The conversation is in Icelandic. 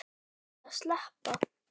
Og langaði að sleppa.